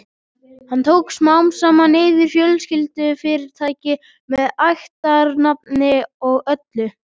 Hann tók smám saman yfir fjölskyldufyrirtækið með ættarnafni og öllu.